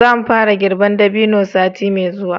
za mu fara girban dabino sati mai zuwa